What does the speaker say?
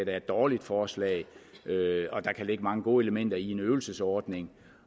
er et dårligt forslag der kan ligge mange gode elementer i en øvelsesordning